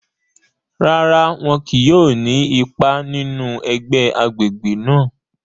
Rárá, wọn kìí yóò ni ipá nínú ẹgbẹ agbègbè náà